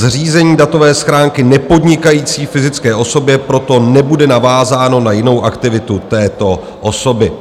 Zřízení datové schránky nepodnikající fyzické osobě proto nebude navázáno na jinou aktivitu této osoby.